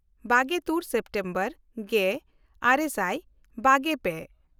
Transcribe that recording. ᱵᱟᱜᱮᱼᱛᱩᱨ September ᱜᱮᱼᱟᱨᱮ ᱥᱟᱭ ᱵᱟᱜᱮᱼᱯᱮ